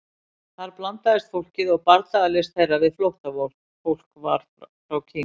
Þar blandaðist fólkið og bardagalist þeirra við flóttafólk frá Kína.